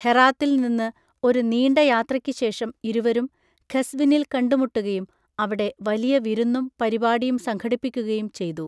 ഹെറാത്തിൽ നിന്ന് ഒരു നീണ്ട യാത്രയ്ക്ക് ശേഷം ഇരുവരും ഖസ്‌വിനിൽ കണ്ടുമുട്ടുകയും അവിടെ വലിയ വിരുന്നും പരിപാടിയും സംഘടിപ്പിക്കുകയും ചെയ്തു.